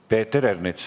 Peeter Ernits.